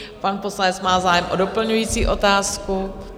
Pan poslanec má zájem o doplňující otázku.